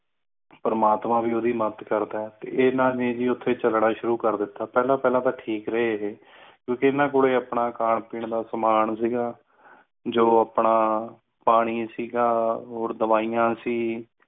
ਪਰਮਾਤਮਾ ਵਿਰੋਧੀ ਮੱਤ ਕਰਦਾ ਹੈ ਇਹਨਾਂ ਨੇ ਹੀ ਉੱਤੇ ਚੱਲਣਾ ਸ਼ੁਰੂ ਕਰ ਦਿੱਤਾ ਪਹਿਲਾਂ ਪਹਿਲੇ ਪਹਿਲੇ ਤੇ ਠੀਕ ਰਹੇ ਕਿਉ ਕ ਇਨ੍ਹਾਂ ਕੋਲੋਂ ਆਪਣਾ ਸਮਾਂ ਸੀ ਗਯਾ ਜ਼ੀਰਾ ਖਾਣਾ ਸੀ ਦਵਾਈਆਂ ਸੀ